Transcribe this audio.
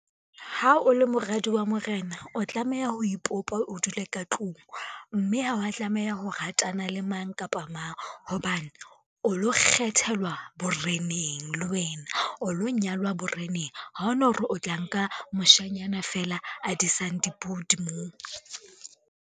Ha o le moradi wa morena, o tlameha ho ipopa o dule ka tlung, mme ha wa tlameha ho ratana le mang kapa mang, hobane o lo kgethelwa boreneng le wena, o lo nyalwa boreneng. Ha ona hore o tla nka moshanyana feela a disang dipudi moo.